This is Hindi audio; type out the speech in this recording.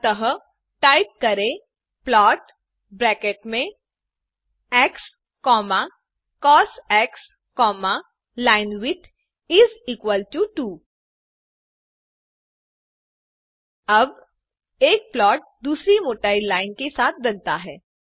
अतः टाइप करें प्लॉट ब्रैकेट्स में xcosलाइनविड्थ इस इक्वल टो 2 अब एक फ्लॉट दूसरी मोटी लाइन के साथ बनता है